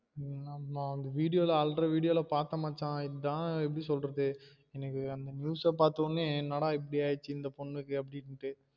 ஆமா அந்த video ல அழுற video ல பாத்தேன் மச்சா இதான் எப்படி சொல்றது எனக்கு அந்த news அ பாத்தவுடனே என்னடா இப்டி ஆயிடுச்சு அந்த பொண்ணுக்கு அப்டிண்டு